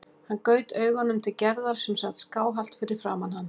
Hann gaut augunum til Gerðar sem sat skáhallt fyrir framan hann.